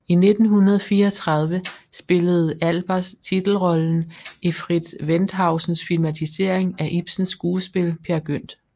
I 1934 spillede Albers titelrollen i Fritz Wendhausens filmatisering af Ibsens skuespil Peer Gynt